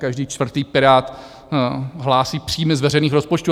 Každý čtvrtý Pirát hlásí příjmy z veřejných rozpočtů.